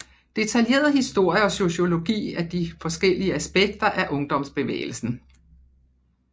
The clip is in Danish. Detaljeret historie og sociologi af de forskellige aspekter af ungdomsbevægelsen